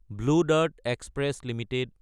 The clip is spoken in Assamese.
blue Dart Express Ltd